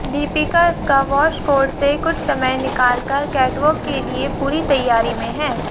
Deepika squash court से कुछ समय निकालकर कैटवॉक के लिए पूरी तैयारी में है